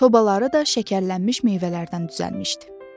Sobaları da şəkərlənmiş meyvələrdən düzəlmişdi.